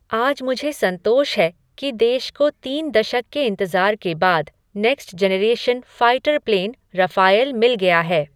आज मुझे संतोष है कि देश को तीन दशक के इंतजार के बाद, next generation fighter plane Rafale मिल गया है।